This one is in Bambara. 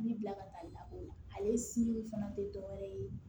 Bi bila ka taa lakɔli la ale fana tɛ dɔwɛrɛ ye